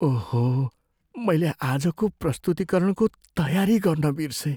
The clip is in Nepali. ओहो! मैले आजको प्रस्तुतीकरणको तयारी गर्न बिर्सेँ।